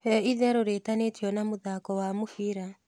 he ĩtherũ riitanitio na muthako wa mubira